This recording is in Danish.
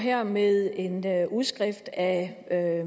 her med en udskrift af